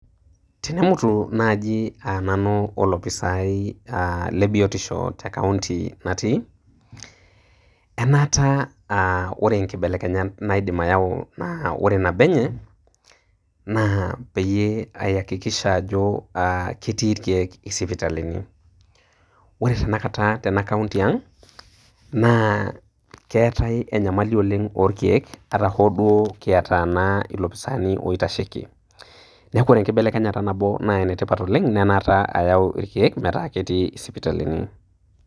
Tenemutu naaji aa nanu olofisai aa lebietisho te kaunti natii, enaata aa wore inkibelekenyat naidim ayau naa wore nabo enye, naa peyie ayakikisha ajo aah ketii irkiek sipitali ni. Wore tenakata tena kaunti ang', naa keetae enyamali oleng' orkiek, ata hoo duo kiata naa ilofisaani oitasheki. Neeku wore enkibelekenyata nabo naa enetipat oleng' naa enaata ayau irkiek metaa ketii isipitalini.